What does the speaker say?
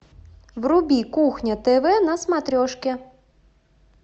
вруби кухня тв на смотрешке